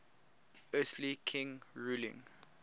earthly king ruling